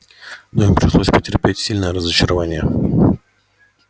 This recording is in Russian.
но им пришлось потерпеть сильное разочарование